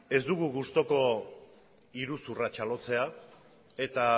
ez dugu gustuko iruzurra txalotzea eta